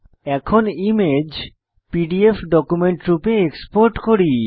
এরপর image PDF document রূপে export করি